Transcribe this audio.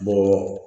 Bɔlɔlɔ